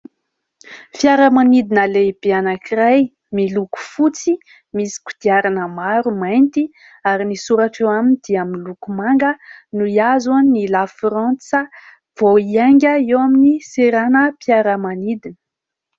Fiaramanidina lehibe anankiray miloko fotsy, misy kodiarana maro mainty ary ny soratra eo aminy dia miloko manga no hihazo an'i La Frantsa, vao hiainga eo amin'ny seranam-piaramanidina.